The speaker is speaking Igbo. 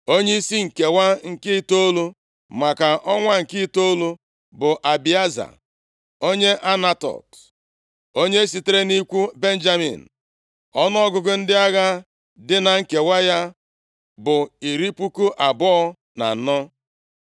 Onyeisi nkewa nke itoolu, maka ọnwa nke itoolu bụ Abieza onye Anatot. Onye sitere nʼikwu Benjamin. Ọnụọgụgụ ndị agha dị na nkewa ya bụ iri puku abụọ na anọ (24,000).